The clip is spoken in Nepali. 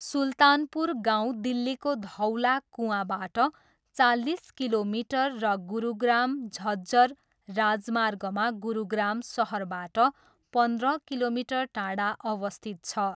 सुल्तानपुर गाउँ दिल्लीको धौला कुआँबाट चालिस किलोमिटर र गुरुग्राम झज्जर राजमार्गमा गुरुग्राम सहरबाट पन्ध्र किलोमिटर टाढा अवस्थित छ।